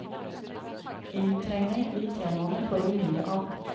Inntrengning i temaene får vi mindre av.